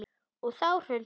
Og þá hrundi hann bara.